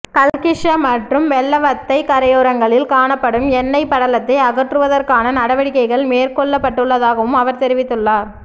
கல்கிஸ்ஸ மற்றும் வெள்ளவத்தை கரையோரங்களில் காணப்படும் எண்ணெய்ப் படலத்தை அகற்றுவதற்கான நடவடிக்கைகள் மேற்கொள்ளப்பட்டுள்ளதாகவும் அவர் தெரிவித்துள்ளார்